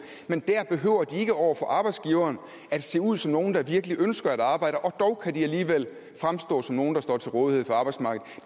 men der behøver de ikke over for arbejdsgiveren at se ud som nogle der virkelig ønsker at arbejde og dog kan de alligevel fremstå som nogle der står til rådighed for arbejdsmarkedet